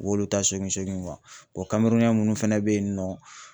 U b'olu ta sogin sogin . O munnu fana be yen nɔ